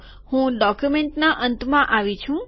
હું ડોક્યુમેન્ટના અંતમાં આવ્યો છું